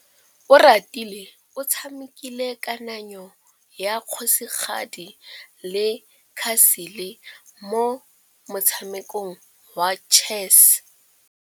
Oratile o tshamekile kananyô ya kgosigadi le khasêlê mo motshamekong wa chess.